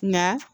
Nka